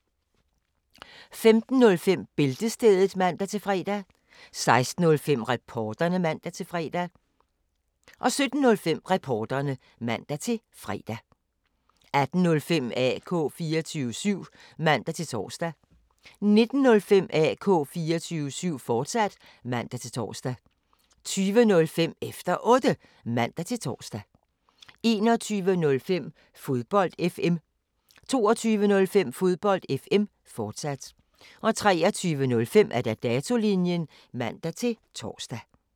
15:05: Bæltestedet (man-fre) 16:05: Reporterne (man-fre) 17:05: Reporterne (man-fre) 18:05: AK 24syv (man-tor) 19:05: AK 24syv, fortsat (man-tor) 20:05: Efter Otte (man-tor) 21:05: Fodbold FM 22:05: Fodbold FM, fortsat 23:05: Datolinjen (man-tor)